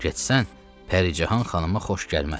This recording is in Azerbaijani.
Getsən, Pəricahan xanıma xoş gəlməz.